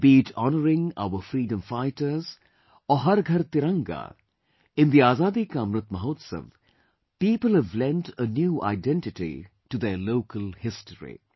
Be it honouring our freedom fighters or Har Ghar Tiranga, in the Azadi Ka Amrit Mahotsav, people have lent a new identity to their local history